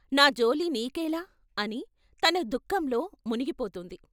"నా జోలి నీకేల" అని తన దుఃఖంలో మునిగిపోతుంది.